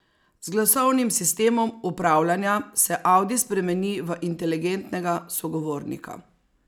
Z glasovnim sistemom upravljanja se audi spremeni v inteligentnega sogovornika.